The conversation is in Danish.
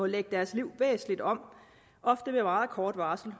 lægge deres liv væsentligt om ofte med meget kort varsel